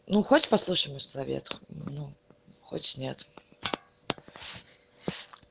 ну хочешь послушай мой совет хочешь нет